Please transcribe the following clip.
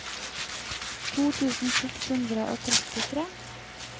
to tusen seks hundre og trettitre